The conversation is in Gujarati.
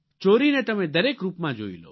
ચોરીને તમે દરેક રૂપમાં જોઇ લો